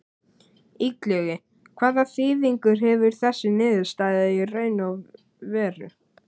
Illugi, hvaða þýðingu hefur þessi niðurstaða í raun og veru?